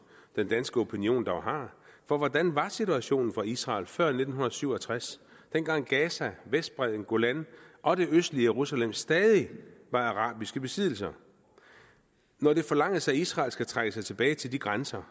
den danske opinion dog har for hvordan var situationen for israel før nitten syv og tres dengang gaza vestbredden golan og det østlige jerusalem stadig var arabiske besiddelser når det forlanges at israel skal trække sig tilbage til de grænser